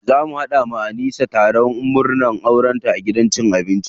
Za mu haɗa wa Anisa taron murnan aure a gidan abinci.